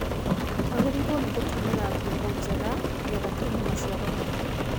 Twagĩrĩirwo nĩ gũtũmira mbegũ njega nĩgetha tuone maciaro maingĩ